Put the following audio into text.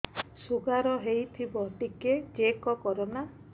sugar ହେଇଥିବ ଟିକେ check କର ନା